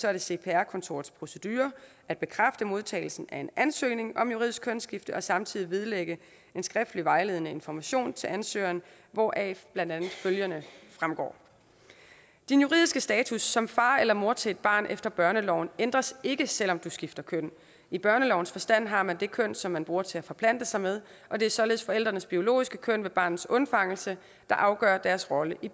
er det cpr kontorets procedure at bekræfte modtagelsen af en ansøgning om juridisk kønsskifte og samtidig vedlægge en skriftlig vejledning og information til ansøgeren hvoraf blandt andet følgende fremgår din juridiske status som far eller mor til et barn efter børneloven ændres ikke selvom du skifter køn i børnelovens forstand har man det køn som man bruger til at forplante sig med og det er således forældrenes biologiske køn ved barnets undfangelse der afgør deres rolle i